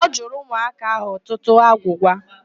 Ọ jụrụ ụmụaka ahụ ọtụtụ agwụgwa.